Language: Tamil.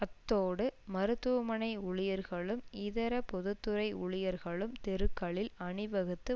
அத்தோடு மருத்துவமனை ஊழியர்களும் இதர பொது துறை ஊழியர்களும் தெருக்களில் அணிவகுத்து